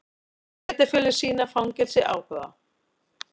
Sveitarfélög sýna fangelsi áhuga